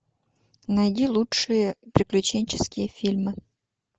найди лучшие приключенческие фильмы